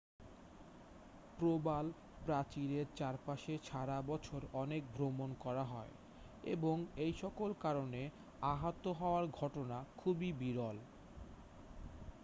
প্রবালপ্রাচীরের চারপাশে সারা বছর অনেক ভ্রমণ করা হয় এবং এইসকল কারণে আহত হওয়ার ঘটনা খুবই বিরল